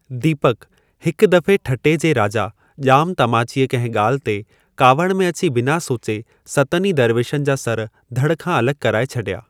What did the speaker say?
दीपकु: हिक दफ़े ठटे जे राजा, जा॒मु तमाचीअ कंहिं गा॒ल्हि ते कावड़ि में अची बिना सोचे सतनि ई दरवेशनि जा सर धड़ खां अलगि॒ कराए छडि॒या।